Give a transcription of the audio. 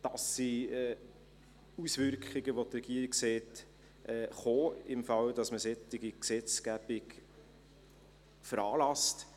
Das sind Auswirkungen, welche die Regierung kommen sieht, wenn man eine solche Gesetzgebung veranlasst.